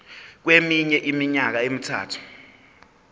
kweminye iminyaka emithathu